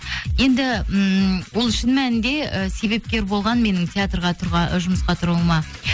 енді ммм ол шын мәнінде і себепкер болған менің театрға жұмысқа тұруыма